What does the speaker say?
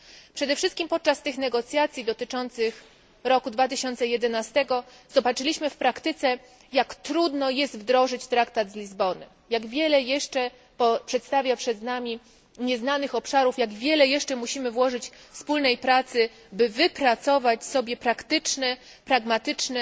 Przede wszystkim podczas negocjacji dotyczących roku 2011 zobaczyliśmy w praktyce jak trudno jest wdrożyć traktat z Lizbony, jak wiele jeszcze pozostaje przez nami nieznanych obszarów, jak wiele jeszcze musimy włożyć wspólnej pracy, by wypracować sobie praktyczne, pragmatyczne